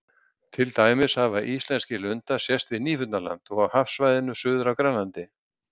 Til dæmis hafa íslenskri lundar sést við Nýfundnaland og á hafsvæðinu suður af Grænlandi.